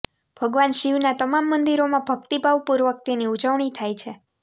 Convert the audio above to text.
ભગવાન શિવના તમામ મંદિરોમાં ભક્તિભાવ પૂર્વક તેની ઉજવણી થાય છે